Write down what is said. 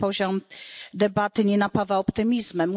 Ten poziom debaty nie napawa optymizmem.